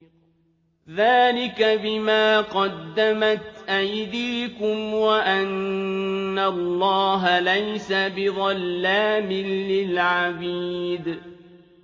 ذَٰلِكَ بِمَا قَدَّمَتْ أَيْدِيكُمْ وَأَنَّ اللَّهَ لَيْسَ بِظَلَّامٍ لِّلْعَبِيدِ